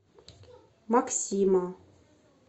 максима